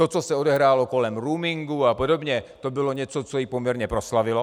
To, co se odehrálo kolem roamingu a podobně, to bylo něco, co ji poměrně proslavilo.